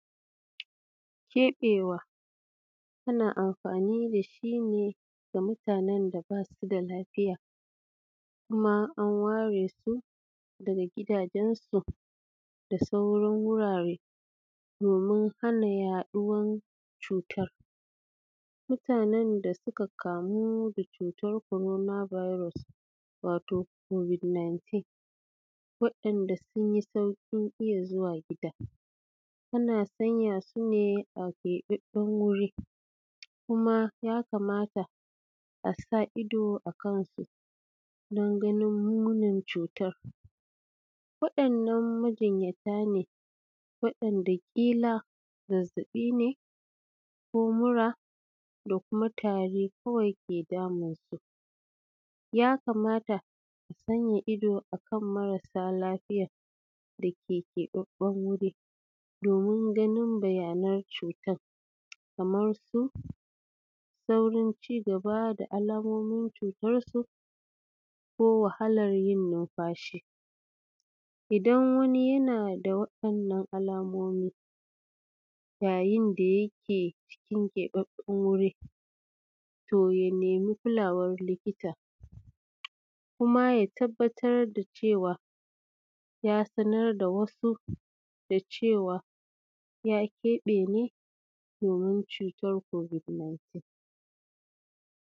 Kebewa ana amfani da shine ga mutannen da Basu da lafiya Kuma an ware su daga gidajen su da sauran wurare domin hana yaɗuwar cuta. Mutanen da suka kamu da cutar korona biros wato kobik nintin, wayanda sunyi saikin iyya zuwa gida, ana sanya sune a kebabben wuri kuma ya kamata asa Ido a kansu dan ganin munin cutan. Wadannan majinyata wadan da kila zazzabi ne ko mura da muka tari kawai ke samun su. Yakamata santa Ido kan marasa lafiya dake kebabben wuri domin ganin bayana cutan. Kamar su sairin cigaba da alamomin cutar su ko wahalar yin numfashi idan wani yana da wadannan alamomi yayin da yake cikin kebabben wuri toya nemi kulawar likita. Kuma ya tabbatar da cewa ya sanar da wasu cewar ya kebe ne domin cutar kobik nintin.